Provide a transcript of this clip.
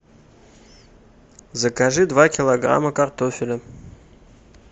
закажи два килограмма картофеля